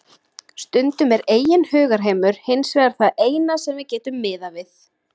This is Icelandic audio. Stundum er eigin hugarheimur hins vegar það eina sem við getum miðað við.